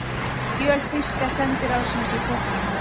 Skjöl þýska sendiráðsins í Kaupmannahöfn.